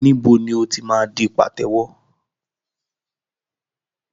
Níbo ni o ti máa di pàtẹ́wọ́?